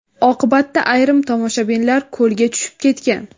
Oqibatda ayrim tomoshabinlar ko‘lga tushib ketgan.